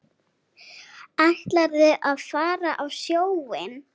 Ætlarðu að fara á sjóinn?